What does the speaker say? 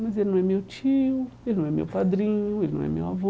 Mas ele não é meu tio, ele não é meu padrinho, ele não é meu avô.